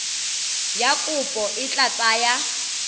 ya kopo e tla tsaya